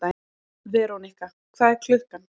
Verónika, hvað er klukkan?